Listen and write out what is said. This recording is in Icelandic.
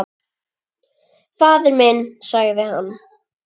Faðir minn, sagði hann.